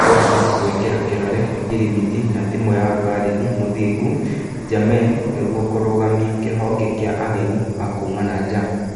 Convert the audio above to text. Ruanda gũĩkĩra kĩrore ngirimiti na timu ya Barithi Mũthingu Njamein nĩguo kũrũgamia kĩhonge kĩa ageni a kuuma nanja.